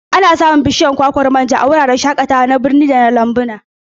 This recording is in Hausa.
Ana iya samun bishiyar kwakwan manja a wuraren shakatawa na birni da lambuna.